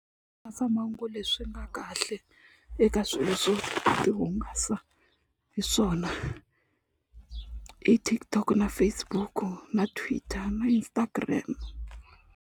leswi nga kahle eka swilo swo ti hungasa hi swona i TikTok na Facebook na Twitter na Instagram.